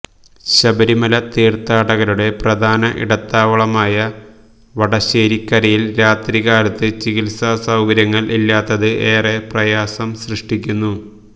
ശബരിമല തീര്ത്ഥാടകരുടെ പ്രധാന ഇടത്താവളമായ വടശ്ശേരിക്കരയില് രാത്രി കാലത്ത് ചികിത്സാ സൌകര്യങ്ങള് ഇല്ലാത്തത് ഏറെ പ്രയാസം സൃഷ്ടിക്കുന്നു